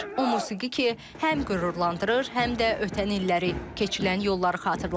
O musiqi ki, həm qürurlandırır, həm də ötən illəri, keçilən yolları xatırladır.